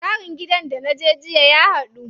Tsarin gidan da naje jiya ya haɗu.